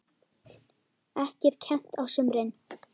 Ekki er kennt á sumrin.